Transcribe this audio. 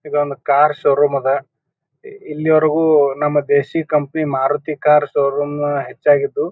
ಇದೊಂದು car showroom ಅದ ಇಲ್ಲಿ ವರೆಗೂ ನಮ್ಮ ದೇಶಿಯ ಕಂಪನಿ ಮಾರುತಿ ಕಾರ್ ಶೋರೂಮ್ ಹೆಚ್ಚಾಗಿದ್ದು--